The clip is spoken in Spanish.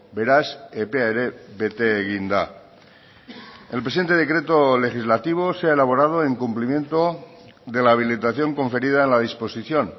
beraz epea ere bete egin da el presente decreto legislativo se ha elaborado en cumplimiento de la habilitación conferida en la disposición